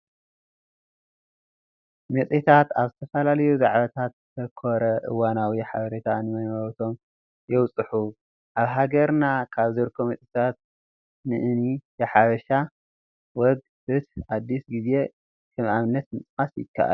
መፅሄታት ኣብ ዝተፈላለዩ ዛዕባታት ዘተኮረ እዋናዊ ሓበሬታ ንመንበብቶም የብፅሑ፡፡ ኣብ ሃገርና ካብ ዝርከቡ መፅሄታት ንእኒ የሐበሻ ወግ፣ ፍትህ፣ ኣዲስ ጊዜ ከም ኣብነት ምጥቃስ ይከኣል፡፡